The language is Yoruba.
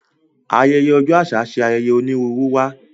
Ayẹyẹ ọjọ aṣa ṣe ayẹyẹ onírúurú wá.